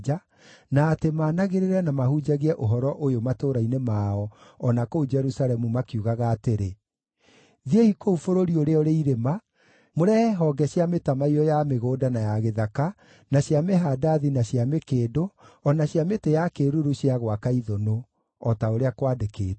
na atĩ maanagĩrĩre na mahunjagie ũhoro ũyũ matũũra-inĩ mao o na kũu Jerusalemu makiugaga atĩrĩ: “Thiĩi kũu bũrũri ũrĩa ũrĩ irĩma mũrehe honge cia mĩtamaiyũ ya mĩgũnda na ya gĩthaka, na cia mĩhandathi, na cia mĩkĩndũ, o na cia mĩtĩ ya kĩĩruru cia gwaka ithũnũ,” o ta ũrĩa kwandĩkĩtwo.